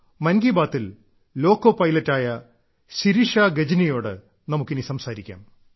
മൻ കി ബാത്തിൽ ലോക്കോ പൈലറ്റായ ശിരിഷ ഗജ്നിയോട് നമുക്കിനി സംസാരിക്കാം